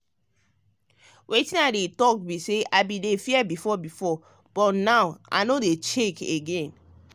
wetin i dey talk be say i bin dey fear before but now i no dey shake again.